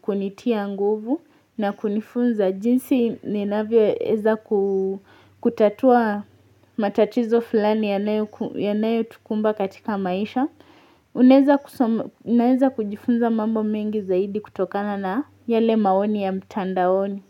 kunitia nguvu na kunifunza jinsi ninavyo weza kutatua matatizo fulani yanayo tukumba katika maisha, unaweza kujifunza mambo mengi zaidi kutokana na yale maoni ya mtandaoni.